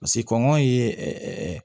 Paseke kɔngɔ ye ɛɛ